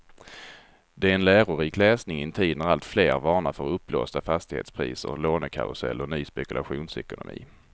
Det är en lärorik läsning i en tid när alltfler varnar för uppblåsta fastighetspriser, lånekarusell och ny spekulationsekonomi.